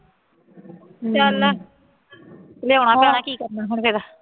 ਚੱਲ ਲਿਆਉਣਾ ਕੀ ਕਰਨਾ ਹੁਣ ਫੇਰ